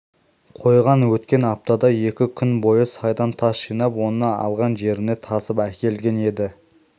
қойған өткен аптада екі күн бойы сайдан тас жинап оны алған жеріне тасып әкелген еді